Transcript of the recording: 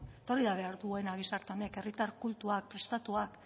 eta hori da behar duena gizarte honek herritar kultuak prestatuak